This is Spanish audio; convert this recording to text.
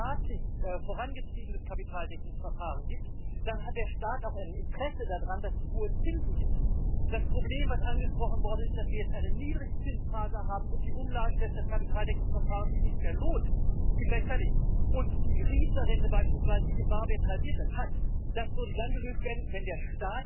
Señora presidenta, las pensiones no son un regalo son el resultado de años de cotizaciones, son salario de los trabajadores. Cuando ustedes hablan de pensiones, proponen ampliar los años de trabajo y planes privados, como el producto paneuropeo de pensiones, que rechazamos totalmente. Si los sistemas públicos de pensiones corren algún riesgo, es por su política de reformas y los límites del gasto público en pensiones, derivados de su injusta regla de gasto.